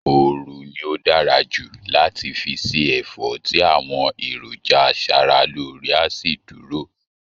ooru ni ó dára jù láti fi se ẹ̀fọ́ tí àwọn èròjà aṣara lóore a sì dúdúró